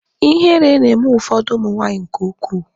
Ihere na-eme ụfọdụ ụmụ nwaanyị nke ukwuu.